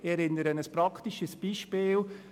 Ich erinnere Sie an ein praktisches Beispiel.